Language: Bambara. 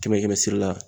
Kɛmɛ kɛmɛ sira la